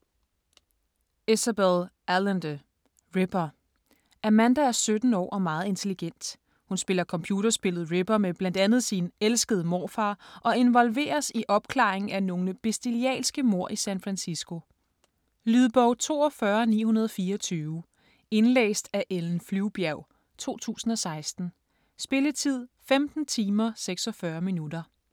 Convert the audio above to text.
Allende, Isabel: Ripper Amanda er 17 år og meget intelligent. Hun spiller computerspillet Ripper med bl.a. sin elskede morfar og involveres i opklaringen af nogle bestialske mord i San Francisco. Lydbog 42924 Indlæst af Ellen Flyvbjerg, 2016. Spilletid: 15 timer, 46 minutter.